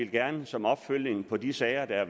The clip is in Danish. gerne som opfølgning på de sager der